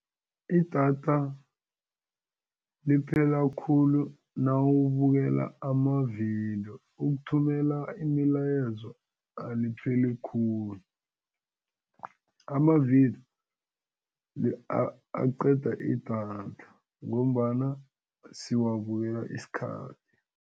Idatha liphela khulu nawubukela amavidiyo ukuthumela imilayezo alipheleli khulu, amavidiyo aqeda idatha ngombana siwubukela isikhathi.